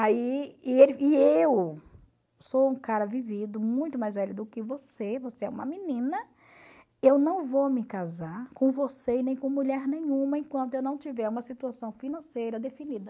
Aí, e ele e eu sou um cara vivido, muito mais velho do que você, você é uma menina, eu não vou me casar com você e nem com mulher nenhuma enquanto eu não tiver uma situação financeira definida.